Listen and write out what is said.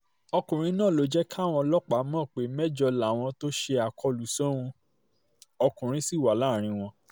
ọkùnrin náà ló jẹ́ káwọn ọlọ́pàá mọ̀ pé mẹ́jọ làwọn tó ṣe àkọlù sóun ọkùnrin ṣì wà láàrín wọn